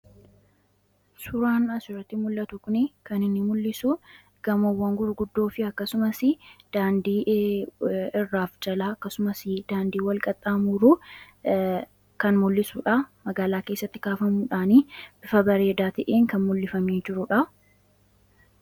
Suuraan as irratti mul'atuu kuni kan inni mul'isuu gaamoowwan gurguddoo aakkasumaas dandii irrafi jalaa akkasumaas dandii walqaxamuruu kan mul'isuudha. Magaalaa keessatti kafamuudhanni bifa bareeda ta'een kan mul'ifamee jiruudha.